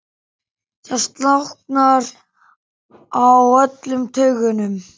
Það slaknar á öllum taugum.